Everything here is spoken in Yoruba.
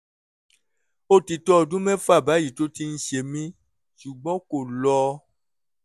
ó ti tó ọdún mẹ́fà báyìí tí ó ti ń ṣe mí ṣùgbọ́n kò lọ